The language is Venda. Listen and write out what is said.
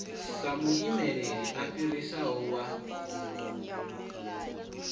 sa muimeli a fhirisaho wa